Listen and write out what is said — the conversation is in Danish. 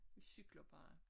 Vi cykler bare